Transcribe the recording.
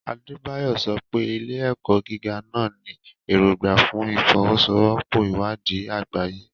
Adebayo sọ pé, ilé-ẹ̀kọ́ gíga náà ní èrògbà fún ìfọwọ́sowọ́pọ̀ ìwádìí àgbáyé.